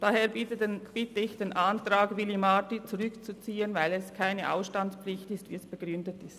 Daher bitte ich, den Antrag zu Willy Marti zurückzuziehen, weil es sich um keine Ausstandspflicht handelt, so wie es begründet worden ist.